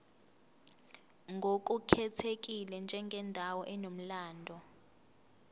ngokukhethekile njengendawo enomlando